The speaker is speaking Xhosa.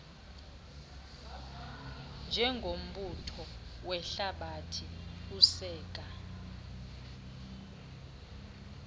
njengombutho wehlabathi useka